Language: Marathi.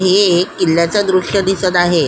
हे एक किल्याच दृश्य दिसत आहे.